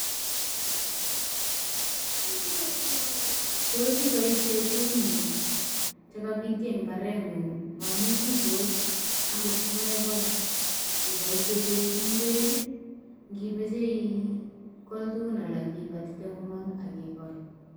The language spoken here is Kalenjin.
Tos iboisien tuguk chu che kobityo en mbareng'ung mo amun bitos angot ko megol, iboishen koik ngwek, ngimoche igol tuguk alak ibatite komong ak igol.